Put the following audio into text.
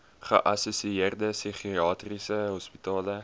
geassosieerde psigiatriese hospitale